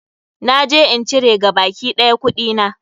Na je in cire gabaki ɗaya kuɗina.